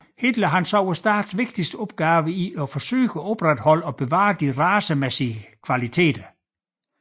Hitler så statens vigtigste opgave i at forsøge at opretholde og bevare de racemæssige kvaliteter